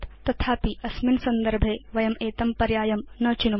तथापि अस्मिन् संदर्भे वयं एतं पर्यायं न चिनुम